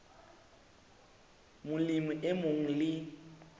molemi e mong le e